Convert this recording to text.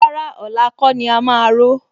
Rárá, ọ̀la kọ́ ni a máa ró